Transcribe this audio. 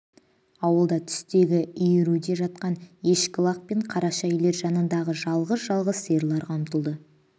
ауылда түстегі иіруде жатқан ешкі-лақ пен қараша үйлер жанындағы жалғыз-жалғыз сиырларға ұмтылды